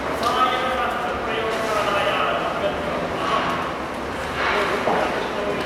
रसायनशास्त्रप्रयोगशालायाः दुर्गन्धम् अहं सोढुं न शक्नोमि।